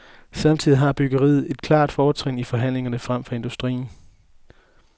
Samtidig har byggeriet et klart fortrin i forhandlingerne frem for industrien.